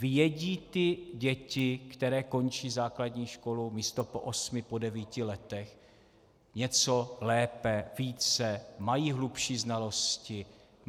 Vědí ty děti, které končí základní školu místo po osmi po devíti letech, něco lépe, více, mají hlubší znalosti?